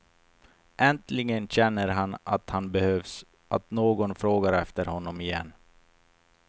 Äntligen känner han att han behövs, att någon frågar efter honom igen.